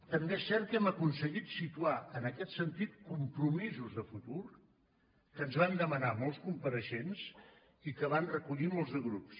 també és cert que hem aconseguit situar en aquest sentit compromisos de futur que ens van demanar molts compareixents i que van recollir molts de grups